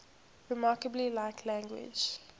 remarkably like language